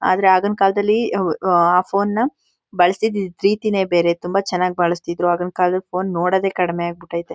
ಆದ್ರೆ ಆಗಿನ ಕಾಲದಲ್ಲಿ ಹ್ಮ್ಮ್ ಆ ಫೋನ್ ನ ಬಳಸ್ತಿದ್ ರೀತಿನೇ ಬೇರೆ ತುಂಬಾ ಚನ್ನಾಗ್ ಬಳಸ್ತಾ ಇದ್ರೂ ಆಗಿನ್ ಕಾಲದ್ ಫೋನ್ ನೋಡದೆ ತುಂಬಾ ಕಡಿಮೆ ಆಗ್ಬಿಟೈತೆ.